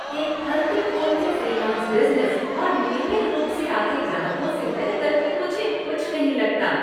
एक फलते फूलते फ्रीलांस बिज़नेस और नियमित रूप से आते से ग्राहकों से बेहतर मुझे कुछ नहीं लगता।